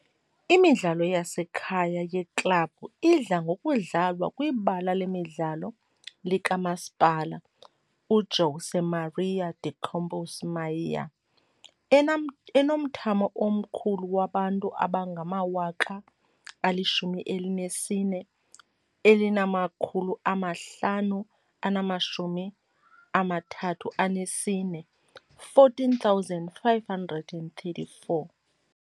Imidlalo yasekhaya yeklabhu idla ngokudlalwa kwibala lemidlalo likaMasipala uJosé Maria de Campos Maia, enomthamo omkhulu wabantu abangama-14,534.